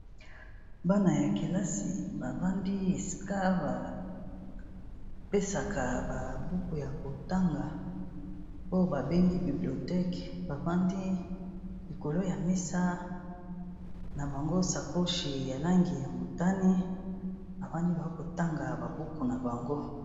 Bana ya kelasi bavandi esika ba pesaka ba buku ya kotanga, oyo ba bengi bibliotheque. Bafandi likolo ya mesa na bango sakoshi ya langi ya motani, bafandi ba kotanga ba buku na bango.